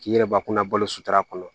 K'i yɛrɛ bakunna balo sutura kɔnɔ